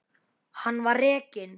Hann var rekinn.